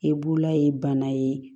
E b'ula ye bana ye